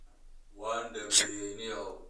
waan dhameeyay ninyahow.